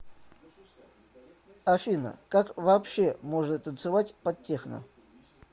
афина как вообще можно танцевать под техно